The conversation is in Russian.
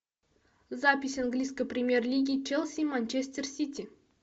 запись английской премьер лиги челси и манчестер сити